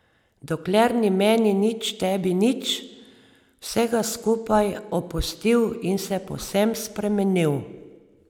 Dokler ni meni nič tebi nič vsega skupaj opustil in se povsem spremenil.